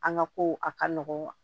An ka ko a ka nɔgɔn